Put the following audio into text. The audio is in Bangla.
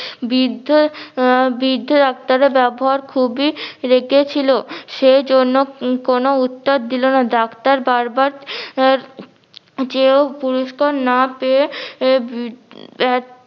বৃদ্ধ আহ বৃদ্ধ ডাক্তারের ব্যাবহার খুবি রেগে ছিল, সেজন্য কেন উত্তর দিলো না ডাক্তার বার বার আহ চেয়েও পুরুস্কার না পেয়ে